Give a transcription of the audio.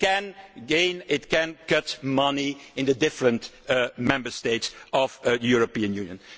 It can gain and it can cut money in the different Member States of the European Union.